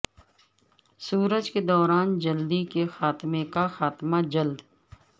سورج کے دوران جلدی کے خاتمے کا خاتمہ جلد